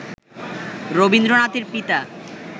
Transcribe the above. রবীন্দ্রনাথের পিতা